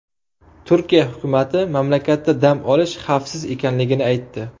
Turkiya hukumati mamlakatda dam olish xavfsiz ekanligini aytdi.